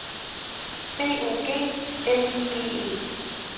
B O G L I G E